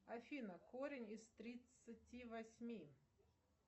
афина корень из тридцати восьми